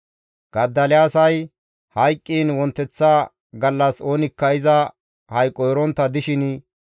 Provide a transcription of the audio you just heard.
Godoliyaasay hayqqiin wonteththa gallas oonikka iza hayqo erontta dishin,